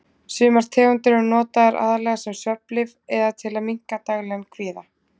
Sumar tegundir eru notaðar aðallega sem svefnlyf eða til að minnka daglegan kvíða.